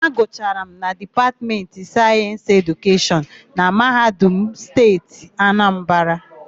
Agụchara m na Dipatmentị Sayensị Edukeshọn na Mahadum Steeti Anambara.